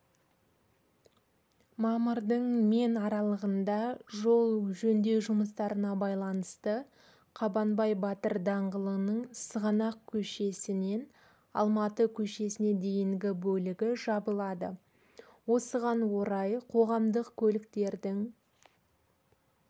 мамырдың мен аралығында жол жөндеу жұмыстарына байланысты қабанбай батыр даңғылының сығанақ көшесінен алматы көшесіне дейінгі бөлігі жабылады осыған орай қоғамдық көліктердің